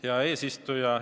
Hea eesistuja!